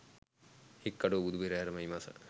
හික්කඩුව බුදු පෙරහර මැයි මස